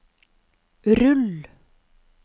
rull